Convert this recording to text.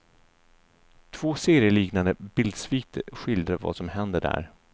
Två serieliknande bildsviter skildrar vad som händer där.